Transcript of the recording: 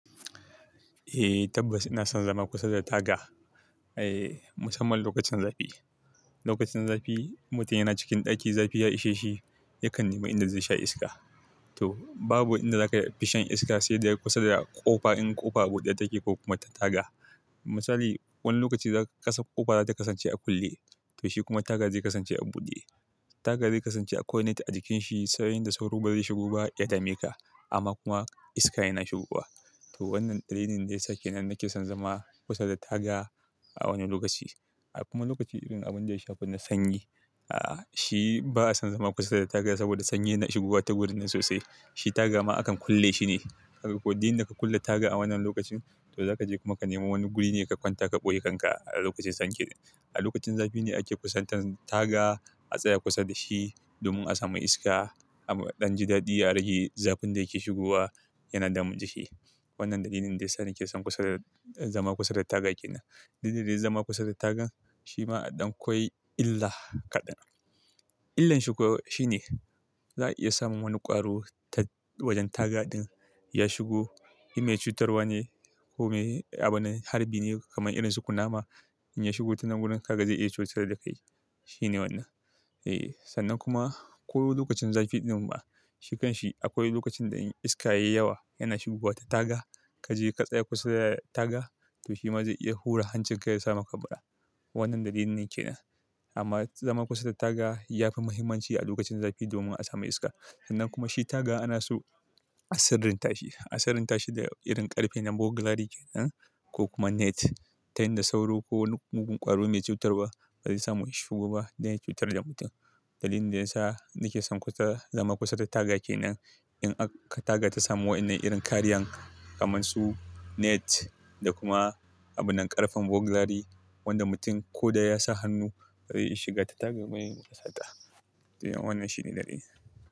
Eh, tabbas ina son zama kusa da taga. Eh, musamman lokacin zafi. Lokacin zafi, mutum yana cikin ɗaki, zafi ya ishe shi, yakan nemi inda zai sha iska. To babu inda za ka iya fishan iska sai dai kusa da ƙofa in ƙofa buɗe take ko kuma ta taga. Misali, wani lokaci ƙofa za ta kasance a kulle, to shi kuma taga zai kasance a buɗe. Taga zai kasance akwai net a jikin shi, so in da sauro ba zai shigo ba, ya dame ka, amma kuma iska yana shigowa. To wannan dalilin da ya sake nan nake son zama kusa da taga a wani lokaci. A kuma lokaci irin abin da ya shafi na sanyi, a shi ba'a son zama kusa da taga saboda sanyi yana shigowa ta wurin ne sosai. Shi taga ma akan kulle shi ne. Haka ko duk in da ka kulle taga a wannan lokacin, to za ka je kuma ka nemi wani guri ne ka kwanta ka ɓoye kanka a lokacin sanyi. A lokacin zafi ne ake kusantar taga a tsaya kusa da shi domin a sami iska amma ɗan ji daɗi ya rage zafin da yake shigowa yana damun jiki. Wannan dalilin da ya sake son kusa da, zama kusa da taga ke nan. Duk da dai zama a kusa da taga shi ma a ɗan kwai illa kaɗan. Illan shi kuwa shi ne, za a iya samun wani ƙwaro ta wajen taga ɗin ya shigo. In mai cutarwa ne ko mai abune harbi ne kamar irin su kunama, in ya shigo tunan wurin ka ga zai iya cutar da kai. Shi ne wannan. Eh, sannan kuma ko lokacin zafi ɗin ma, shi kan shi akwai lokacin da in iska yayi yawa yana shigowa ta taga, ka je ka tsaya kusa da taga to shi ma zai iya hura hancin ka ya samaka kura. Wannan dalilin yake nan. Amma zama kusa da taga ya fi muhimmanci a lokacin zafi domin a sami iska. Sannan kuma shi taga ana su a sirrin tashi, a sirrin tashi da irin ƙarfe na burglary kenan ko kuma net. Ta yin da sauro ko wani mugun ƙwaro mai cutarwa ba zai samu ya shigo ba dan ya cutar da mutum. Dalilin da ya sa nake son kusa, zama kusa da taga ke nan in aka taga ta samu waɗannan irin kariyan kamar su net da kuma abunan ƙarfen burglary wanda mutum ko da ya sa hannu bai iya shiga ta taga ba balle yayi sata. To wannan shi ne dalilin.